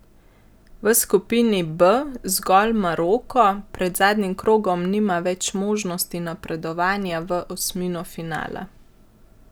V skupini B zgolj Maroko pred zadnjim krogom nima več možnosti napredovanja v osmino finala.